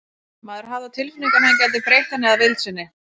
Maður hafði á tilfinningunni að hann gæti breytt henni að vild sinni.